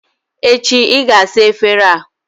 Echi, ị ga-asa efere a!